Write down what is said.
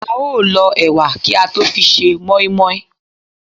á o l ọ ewà kí à tọ fí sẹ moimoi